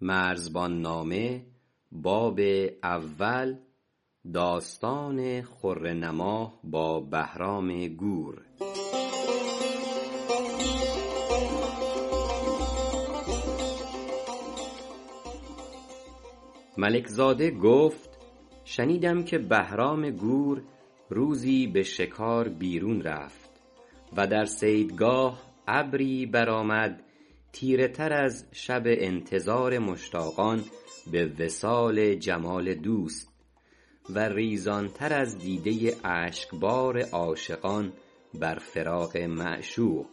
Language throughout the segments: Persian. ملک زاده گفت شنیدم که بهران گور روزی به شکار بیرون رفت و در صیدگاه ابری برآمد تیره تر از شب انتظار مشتاقان به وصال جمال دوست و ریزان تر از دیده ی اشک بار عاشقان بر فراق معشوق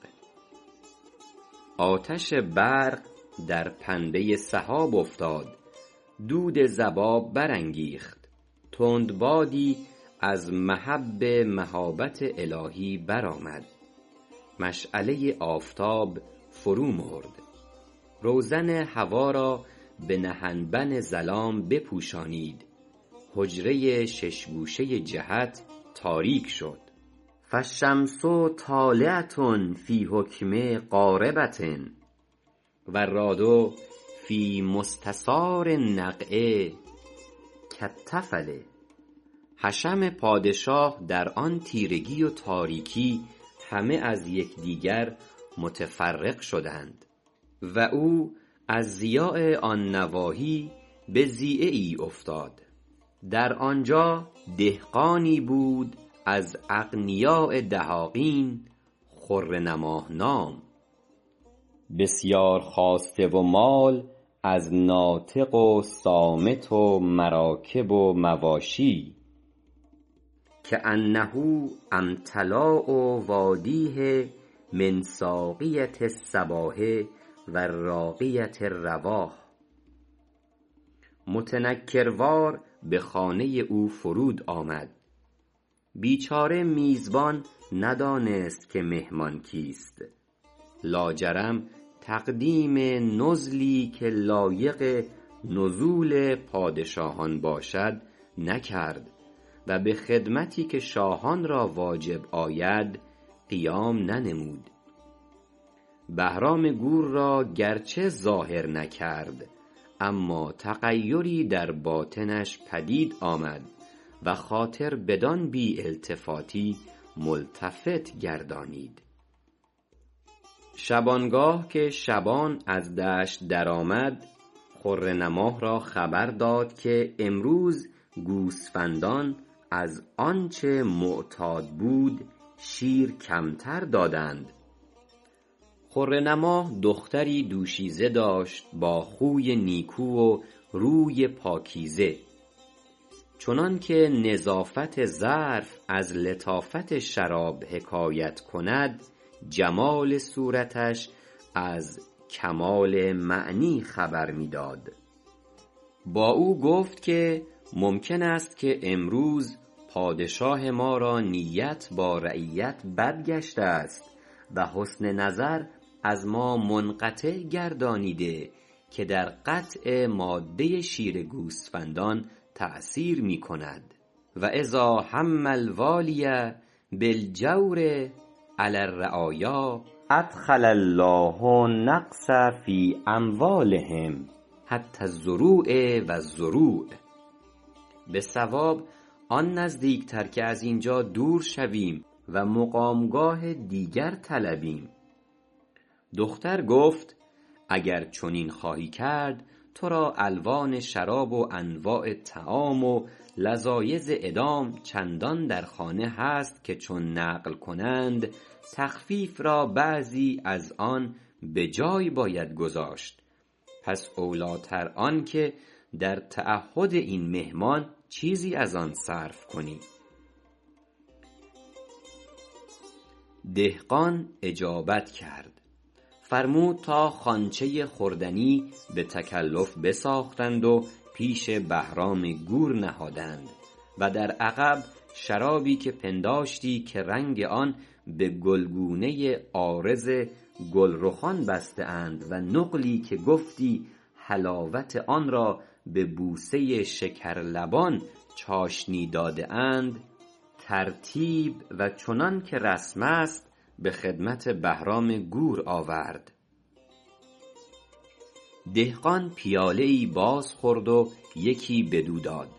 آتش برق در پنبه ی سحاب افتاد دود ضباب برانگیخت تندبادی از مهب مهابت الهی برآمد مشعله ی آفتاب فرومرد روزن هوا را به نهنبن ظلام بپوشانید حجره ی شش گوشه ی جهت تاریک شد فالشمس طالعه فی حکم غاربه والرأد فی مستثار النفع کالطفل حشم پادشاه در آن تاریکی و تیرگی همه از یکدیگر متفرق شدند و او از ضیاع آن نواحی به ضیعه ای افتاد در آنجا دهقانی بود از اغنیاء دهاقین خره نماه نام بسیار خواسته و مال از ناطق و صامت و مراکب و مواشی کأنه امتلأ وادیه من ثاغیه الصباح و راغیه الرواح متنکروار به خانه ی او فرود آمد بیچاره میزبان ندانست که مهمان کیست لاجرم تقدیم نزلی که لایق نزول پادشاهان باشد نکرد و به خدمتی که شاهان را واجب آید قیام ننمود بهرام گور اگرچ ظاهر نکرد اما تغیری در باطنش پدید آمد و خاطر بدان بی التفاتی ملتفت گردانید شبانگاه که شبان از دشت در آمد خره نماه را خبر داد که امروز گوسفندان از آنچ معتاد بود شیر کمتر دادند خره نماه دختری دوشیزه داشت با خوی نیکو و روی پاکیزه چنانک نظافت ظرف از لطافت شراب حکایت کند جمال صورتش از کمال معنی خبر می داد خره نماهبا او گفت که ممکن است که امروز پادشاه ما را نیت با رعیت بد گشته است و حسن نظر از ما منقطع گردانیده که در قطع ماده ی شیر گوسفندان تأثیر می کند و إذا هم الوالی بالجور علی الرعایا أدخل الله النقص فی أموالهم حتی الضروع و الرروع به صواب آن نزدیک تر که از اینجا دور شویم و مقام گاه دیگر طلبیم دختر گفت اگر چنین خواهی کرد ترا الوان شراب و انواع طعام و لذایذ ادام چندان در خانه هست که چون نقل کنند تخفیف را بعضی از آن به جای باید گذاشت پس اولی تر آنک در تعهد این مهمان چیزی از آن صرف کنی دهقان اجابت کرد فرمود تا خوانچه ی خوردنی بتکلف بساختند و پیش بهرام گور نهادند و در عقب شرابی که پنداشتی که رنگ آن به گلگونه عارض گل رخان بسته اند و نقلی که گفتی حلاوت آنرا به بوسه ی شکر لبان چاشنی داده اند ترتیب و چنانک رسم است به خدمت بهرام گور آورد دهقان پیاله ای بازخورد و یکی بدو داد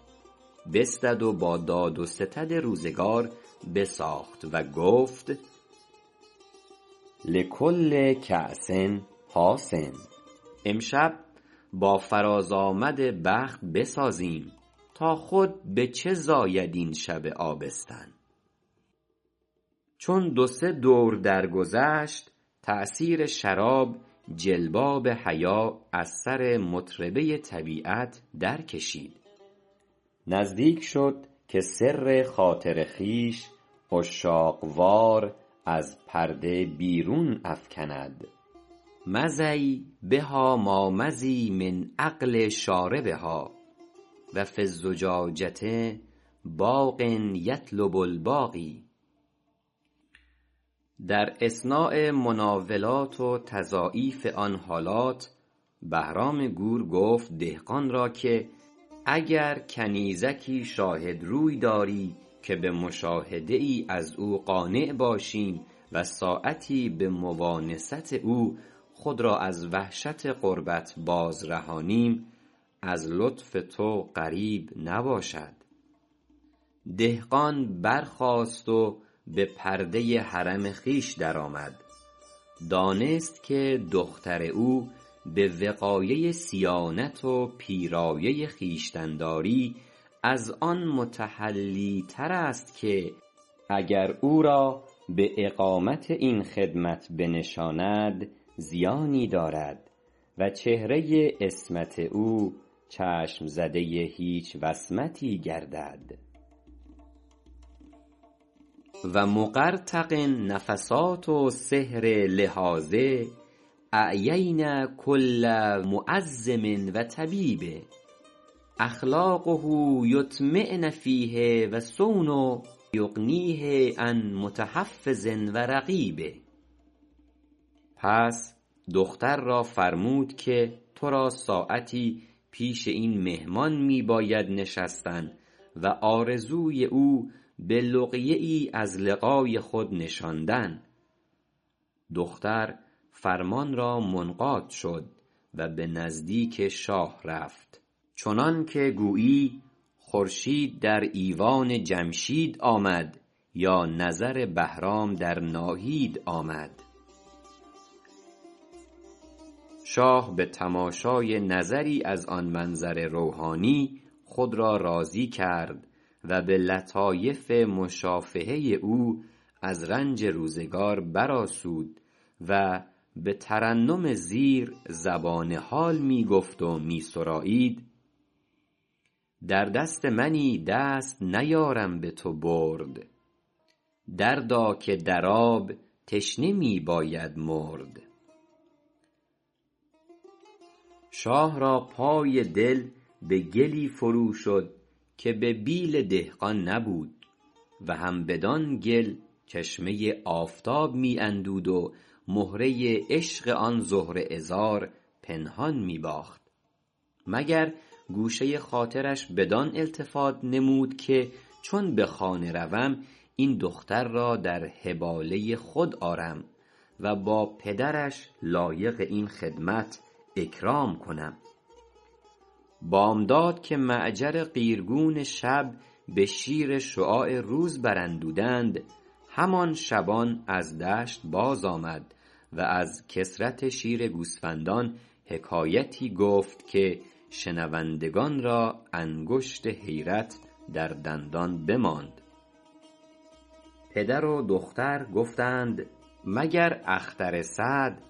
بستد و با داد و ستد روزگار بساخت و گفت لکل کاس حاس امشب با فرازآمد بخت بسازیم تا خود بچه چه زاید این شب آبستن چون دو سه دور در گذشت تأثیر شراب جلباب حیا از سر مطربه ی طبیعت در کشید نزدیک شد که سر خاطر خویش عشاق وار از پرده بیرون افکند مضی بهاما مضی من عقل شاربها و فی الزجاجه باق یطلب الباقی در اثناء مناولات و تضاعیف آن حالات بهرام گور گفت دهقان را که اگر کنیزکی شاهد روی داری که به مشاهده ای از او قانع باشیم و ساعتی به مؤانست او خود را از وحشت غربت باز رهانیم از لطف تو غریب نباشد دهقان برخاست و به پرده ی حرم خویش درآمد دانست که دختر او به وقایه ی صیانت و پیرایه ی خویشتن داری از آن متحلی ترست که اگر او را با قامت این خدمت بنشاند زیانی دارد و چهره ی عصمت او چشم زده ی هیچ وصمتی گردد و مقرطق نفثات سحر لحاظه اعیین کل معزم و طبیب اخلاقه یطمعن فیه و صونه یغنیه عن متحفظ و رقیب پس دختر را فرمود که ترا ساعتی پیش این مهمان می باید نشستن و آرزوی او به لقیه ای از لقای خود نشاندن دختر فرمان را منقاد شد و به نزدیک شاه رفت چنانک گویی خورشید در ایوان جمشید آمد یا نظر بهرام در ناهید آمد شاه به تماشای نظری از آن منظر روحانی خود را راضی کرد و به لطایف مشافهه ی او از رنج روزگار برآسود و به ترنم زیر زبان حال می گفت و می سرایید در دست منی دست نیارم بتو برد دردا که در آب تشنه می باید مرد شاه را پای دل به گلی فروشد که به بیل دهقان نبود و هم بدان گل چشمه ی آفتاب می اندود و مهره ی عشق آن زهره عذار پنهان می باخت مگر گوشه ی خاطرش بدان التفات نمود که چون به خانه روم این دختر را در حباله ی خود آرم و با پدرش لایق این خدمت اکرام کنم بامداد که معجر قیرگون شب به شیر شعاع روز براندودند همان شبان از دشت باز آمد و از کثرت شیر گوسفندان حکایتی گفت که شنوندگان را انگشت حیرت در دندان بماند پدر و دختر گفتند مگر اختر سعد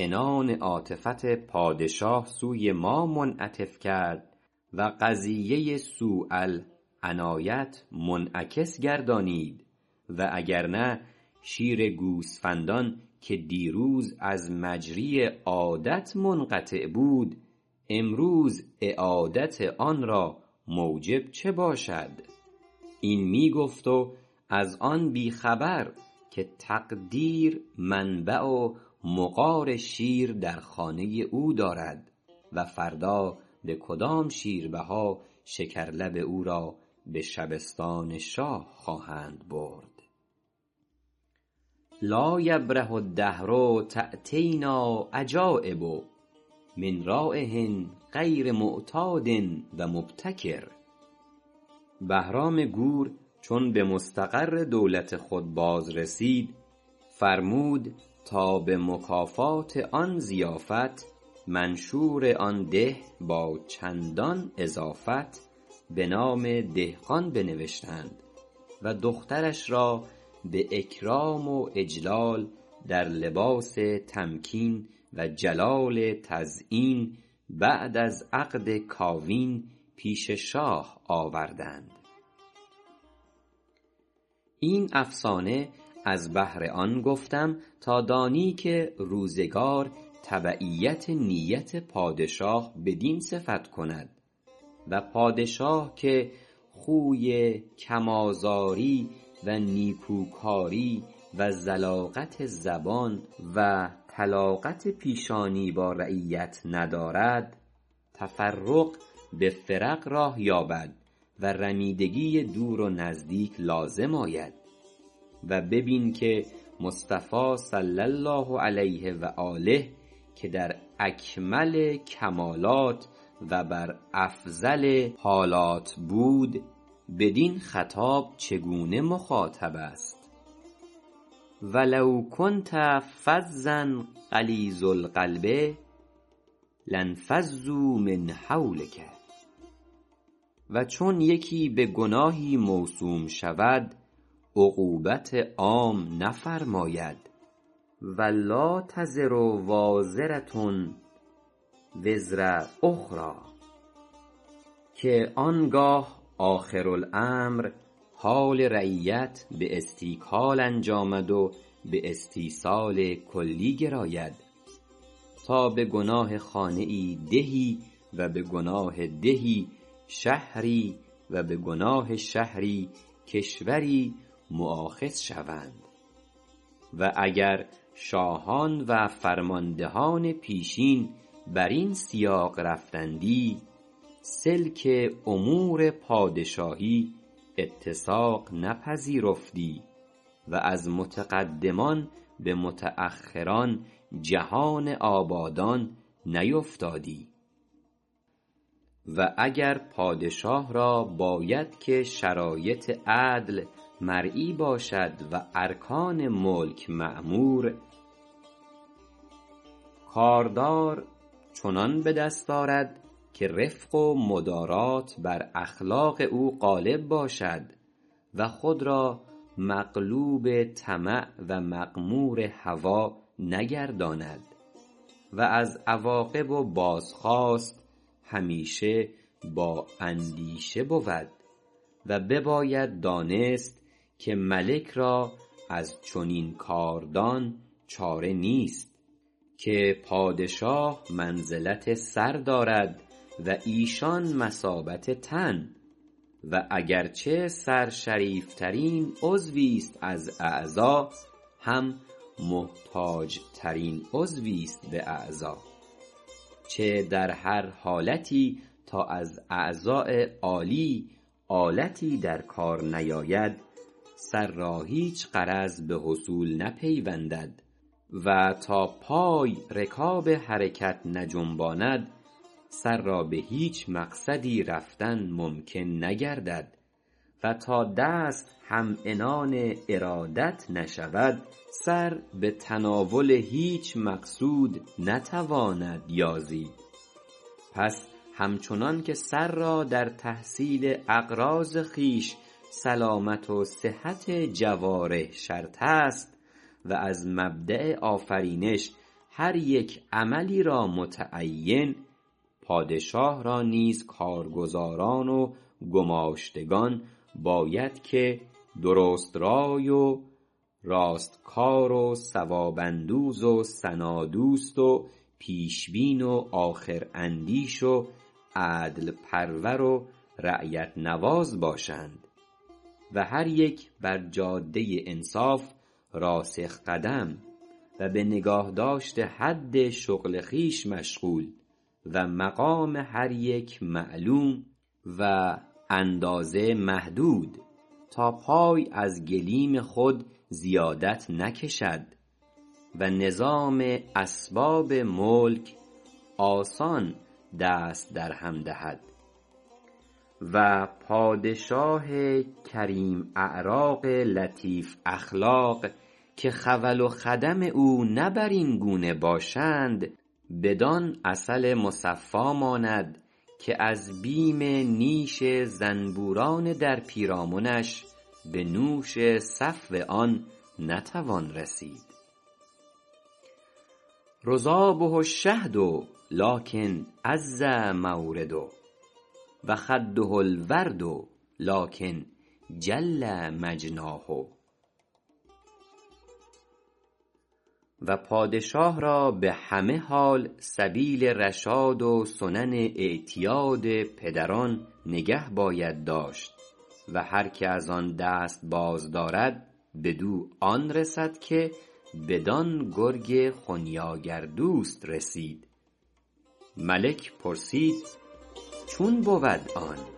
عنان عاطفت پادشاه سوی ما منعطف کرد و قضیه سوء العنایه منعکس گردانید و اگر نه شیر گوسفندان که دیروز از مجری عادت منقطع بود امروز اعادت آنرا موجب چه باشد این می گفت و از آن بی خبر که تقدیر منبع و مغار شیر در خانه ی او دارد و فردا به کدام شیربها شکرلب او را به شبستان شاه خواهند برد لا یبرح الدهر تأتینا عجایبه من رایح غیر معتاد و مبتکر بهرام گور چون به مستقر دولت خود باز رسید فرمود تا به مکافات آن ضیافت منشور آن دیه با چندان اضافت به نام دهقان بنوشتند و دخترش را به اکرام و اجلال در لباس تمکین و جلال تزیین بعد از عقد کاوین پیش شاه آوردند این افسانه از بهر آن گفتم تا دانی که روزگار تبعیت نیت پادشاه بدین صفت کند و پادشاه که خوی کم آزاری و نیکوکاری و ذلاقت زبان و طلاقت پیشانی با رعیت ندارد تفرق به فرق راه یابد و رمیدگی دور و نزدیک لازم آید و ببین که مصطفی صلی الله علیه و آله که در اکمل کمالات و بر افضل حالات بود بدین خطاب چگونه مخاطب است و لو کنت فظا غلیظ القبب لانفصوا من حولک و چون یکی بگناهی موسوم شود عقویت عام نفرماید و لا تزز وازره وزر اخری که آنگه آخر الامر حال رعیت به استیکال انجامد و به استیصال کلی گراید تا به گناه خانه ای دیهی و به گناه دیهی شهری و به گناه شهری کشوری مؤاخد شوند و اگر شاهان و فرمان دهان پیشین برین سیاق رفتندی سلک امور پادشاهی اتساق نپذیرفتی و از متقدمان به متأخران جهان آبادان نیفتادی و اگر پادشاه را باید که شرایط عدل مرعی باشد و ارکان ملک معمور کاردار چنان بدست آرد که رفق و مدارات بر اخلاق او غالب باشد و خود را مغلوب طمع و مغمور هوی وی نگرداند و از عواقب و بازخواست همیشه با اندیشه بود و بباید دانست که ملک را از چنین کاردان چاره نیست که پادشاه مثلا منزلت سر دارد و ایشان مثابت تن و اگرچ سر شریفترین عضوی است از اعضا هم محتاج ترین عضویست به اعضا چه در هر حالتی تا از اعضاء آلی آلتی درکار نیاید سر را هیچ غرض به حصول نپیوندد و تا پای رکاب حرکت نجنباند سر را بهیچ مقصدی رفتن ممکن نگردد و تا دست هم عنان ارادت نشود سر به تناول هیچ مقصود نتواند یازید پس همچنانک سر را در تحصیل اغراض خویش سلامت و صحت جوارح شرط است و از مبدأ آفرینش هر یک عملی را متعین پادشاه را نیز کارگزاران و گماشتگان باید که درست رای و راست کار و ثواب اندوز و ثنا دوست و پیش بین و آخراندیش و عدل پرور و رعیت نواز باشند و هر یک بر جاده ی انصاف راسخ قدم و به نگاه داشت حد شغل خویش مشغول و مقام هر یک معلوم و اندازه محدود تا پای از گلیم خود زیادت نکشد و نظام اسباب ملک آسان دست درهم دهد و پادشاه کریم اعراق لطیف اخلاق که خول و خدم او نه برین گونه باشند بدان عسل مصفی ماند که از بیم نیش زنبوران در پیرامنش به نوش صفو آن نتوان رسید رضابه الشهد لکن عز مورده و خده الورد لکن جل مجناه و پادشاه را به همه حال سبیل رشاد و سنن اعتیاد پدران نگه باید داشت و هرک از آن دست باز دارد بدو آن رسد که بدان گرگ خنیاگر دوست رسید ملک پرسید چون بود آن